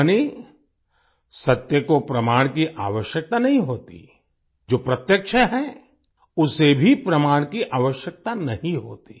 यानि सत्य को प्रमाण की आवश्यकता नहीं होती जो प्रत्यक्ष है उसे भी प्रमाण की आवश्यकता नहीं होती